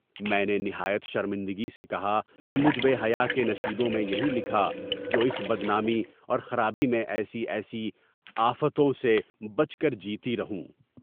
میں نے نہایت شرمندگی سے کہا کہ مجھ بے حیاء کے نصیبوں میں یہی لکھا تھا کہ اس بدنامی اور خرابی میں ایسے آآفتوں سے بچ کر جیتی رہوں۔